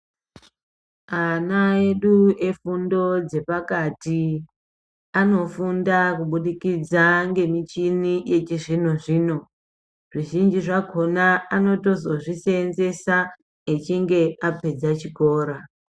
Ana edu efundo dzepakati anofunda kubudikidza ngemichini yechizvino zvino, zvichinji zvakhona anozotozvoseenzesa echinge apedza chikora.